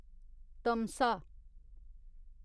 तमसा